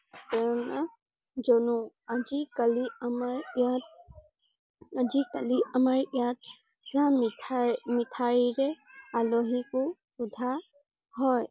প্ৰেৰণা জনু । আজি কালি আমাৰ ইয়াত আজি কালি আমাৰ ইয়াত মিঠাই মিঠাইৰে আলহীক ও সুধা হয়।